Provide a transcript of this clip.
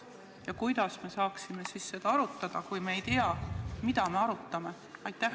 Kuidas me saame siis seda arutada, kui me ei tea, mida me arutame?